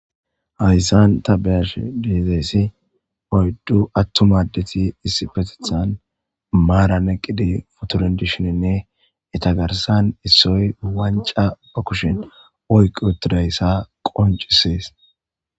hayssan ta beyash diizeessi oyddu attuma addeti issi petethan maara neqqidi fotorindishoninne eta garsan issoy wanca ba kushin oyqu utidayssa qoncisees